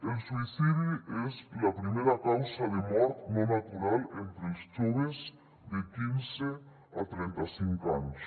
el suïcidi és la primera causa de mort no natural entre els joves de quinze a trenta cinc anys